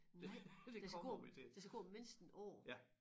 Nej der skal gå der skal gå mindst en år